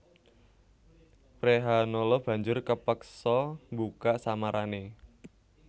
Wrehanala banjur kapeksa mbuka samarané